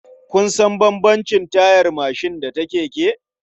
Kun san bambamcin tayar mashin da na keke?